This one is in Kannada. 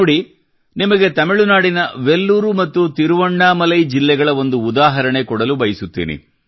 ನೋಡಿ ನಿಮಗೆ ತಮಿಳುನಾಡಿನ ವೆಲ್ಲೂರು ಮತ್ತು ತಿರುವಣ್ಣಾಮಲೈ ಜಿಲ್ಲೆಗಳ ಒಂದು ಉದಾಹರಣೆ ಕೊಡಲು ಬಯಸುತ್ತೇನೆ